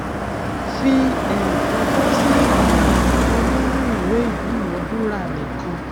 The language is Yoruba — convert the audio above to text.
fi um ọjọ sí ilà àkọkọ nínú ìwé ìdúnadúrà nìkan